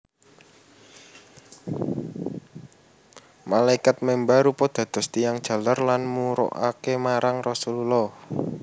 Malaikat memba rupa dados tiyang jaler lan murukaké marang Rasululllah